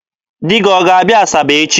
Di gị ọ ga-abịa Asaba echi?